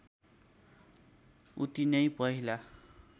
उति नै पहिला